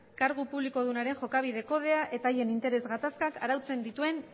kargu publikodunaren jokabide kodea eta haien interes gaztakak arautzen dituen